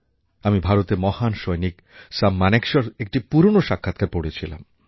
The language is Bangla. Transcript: আমি ভারতের মহান সৈনিক সাম মানেকশএর একটি পুরনো সাক্ষাৎকার পড়ছিলাম